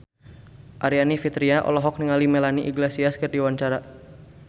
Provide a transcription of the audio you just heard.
Aryani Fitriana olohok ningali Melanie Iglesias keur diwawancara